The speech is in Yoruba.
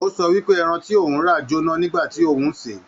O sọ wípé ẹran ti òun rà j'óná nígbà tí òun n ṣe.